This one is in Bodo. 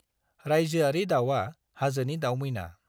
रायजोआरि दाउआ हाजोनि दाउमैना।